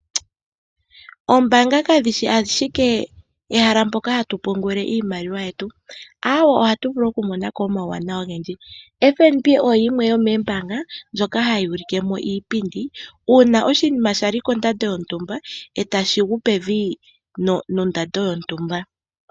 Oombanga kadhi shi ashike ehala moka ha tu pungula iimaliwa yetu, aawo oha tu vulu okumona ko omawuwanawa ogendji. FNB oyo yimwe yomoombanga ndjoka hayi ulike mo iipindi uuna oshinima shali kondando yontumba e ta shi gu pevi nondando yontumba.